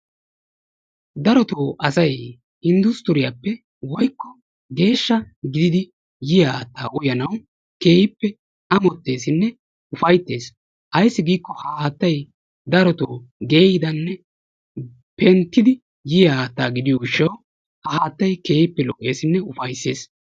Darotoo asay industruriyappe woykko geeshsha gididi yiyyaa haattaa uyyanaw keehippe amotessinne ufayttees. Ayssi giiko ha haattay darotoo geyyidanne penttidi yiyyaa haatta gidiyo gishshaw ha haattay keehippe lo''essinne ufayssees.